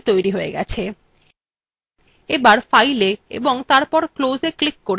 এবার fileএ এবং তারপর closeএ ক্লিক করে documentটি বন্ধ করুন